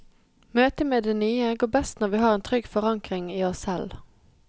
Møtet med det nye går best når vi har en trygg forankring i oss selv.